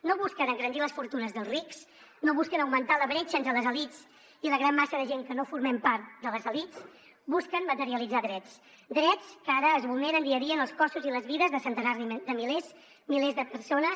no busquen engrandir les fortunes dels rics no busquen augmentar la bretxa entre les elits i la gran massa de gent que no formem part de les elits busquen materialitzar drets drets que ara es vulneren dia a dia en els cossos i les vides de centenars de milers i milers de persones